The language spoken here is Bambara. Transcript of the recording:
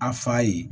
A fa ye